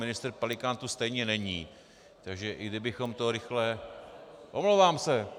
Ministr Pelikán tu stejně není, takže i kdybychom to rychle - Omlouvám se.